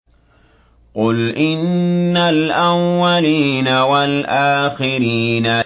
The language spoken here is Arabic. قُلْ إِنَّ الْأَوَّلِينَ وَالْآخِرِينَ